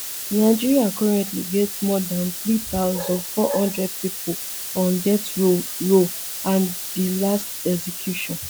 nigeria currently get more dan three thousand, four hundred pipo on death row row and di last execution